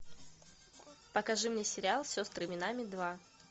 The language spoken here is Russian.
покажи мне сериал сестры минами два